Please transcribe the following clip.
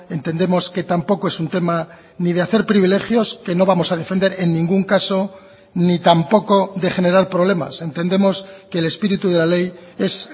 entendemos que tampoco es un tema ni de hacer privilegios que no vamos a defender en ningún caso ni tampoco de generar problemas entendemos que el espíritu de la ley es